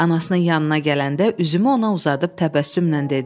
Anasının yanına gələndə üzümü ona uzadıb təbəssümlə dedi: